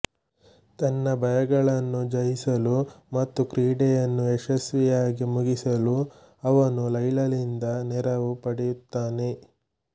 ತನ್ನ ಭಯಗಳನ್ನು ಜಯಿಸಲು ಮತ್ತು ಕ್ರೀಡೆಯನ್ನು ಯಶಸ್ವಿಯಾಗಿ ಮುಗಿಸಲು ಅವನು ಲೈಲಾಳಿಂದ ನೆರವು ಪಡೆಯುತ್ತಾನೆ